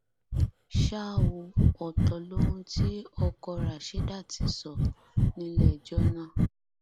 ṣá ò ọtọ lohun tí ọkọ Rashidát sọ nílẹẹjọ náà